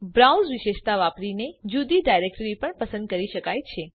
browse વિશેષતા વાપરીને જુદી ડાયરેક્ટ્રીને પણ પસંદ કરી શકાય છે